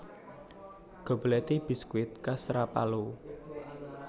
Gobelletti biskuit khas Rapallo